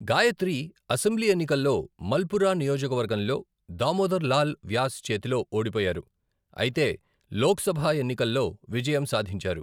Gayatri assembly ఎన్నికల్లో మల్పురా నియోజకవర్గంలో దామోదర్ లాల్ వ్యాస్ చేతిలో ఓడిపోయారు, అయితే లోక్సభ ఎన్నికల్లో విజయం సాధించారు.